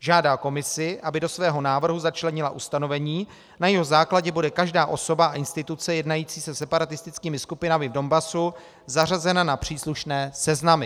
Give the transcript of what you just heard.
Žádá Komisi, aby do svého návrhu začlenila ustanovení, na jehož základě bude každá osoba a instituce jednající se separatistickými skupinami v Donbasu zařazena na příslušné seznamy.